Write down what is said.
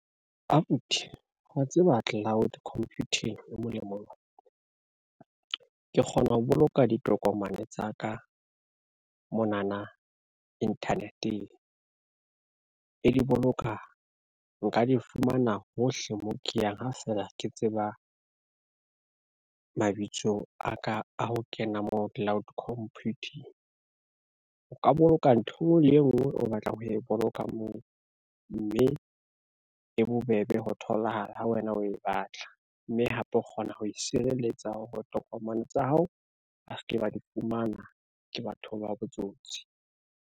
Abuti wa tseba cloud computing e molemo jwang. Ke kgona ho boloka ditokomane tsa ka monana internet-eng, e di boloka nka di fumana hohle mo ke yang ha fela ke tseba, mabitso a ka a ho kena mo cloud computing. O ka boloka ntho le e ngwe o batlang ho e boloka moo, mme e bobebe ho tholahala ha wena o e batla, mme hape o kgona ho sireletsa hore tokomane tsa hao, ba se ke ba di fumana ke batho ba botsotsi.